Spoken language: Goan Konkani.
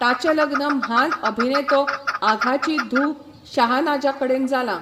ताचें लग्न म्हान अभिनेतो आघाची धूव शाहनाजा कडेन जालां.